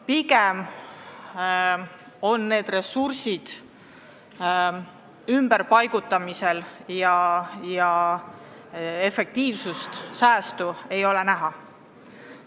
Pigem paigutatakse ressursid ümber ja efektiivsust, säästu ei ole näha.